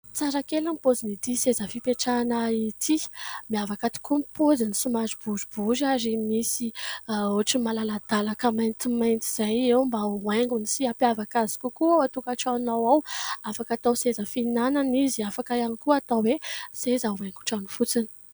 Tsara kely ny pozin'ity seza fipetrahana ity. Miavaka tokoa ny poziny somary boribory ary misy otrany malala-dalaka maintimainty izay eo mba ho aingony sy hampiavaka azy kokoa ao an-tokatranonao ao. Aaka atao seza fihinana izy, afaka ihany koa atao hoe seza ho haingo trano fotsiny.